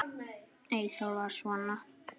Eyþór var svona.